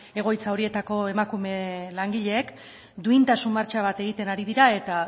egoitza horietako emakume langileek duintasun martxa bat egiten ari dira eta